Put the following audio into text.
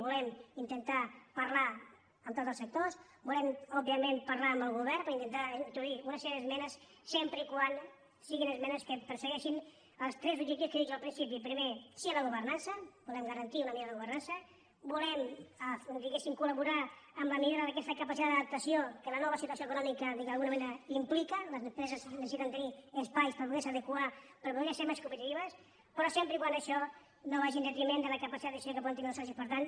volem intentar parlar amb tots els sectors volem òbviament parlar amb el govern per intentar introduir una sèrie d’esmenes sempre que siguin esmenes que persegueixin els tres objectius que he dit jo al principi primer sí a la governança volem garantir una millora de la governança volem diguéssim col·laborar en la millora d’aquesta capacitat d’adaptació que la nova situació econòmica d’alguna manera implica les empreses necessiten tenir espais per poder se adequar per poder ser més competitives però sempre que això no vagi en detriment de la capacitat de decisió que poden tenir els socis importants